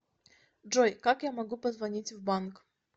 джой как я могу позвонить в банк